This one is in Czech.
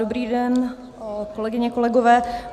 Dobrý den, kolegyně, kolegové.